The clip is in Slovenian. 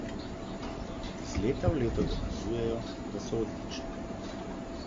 Iz leta v leto dokazujejo, da so odlične.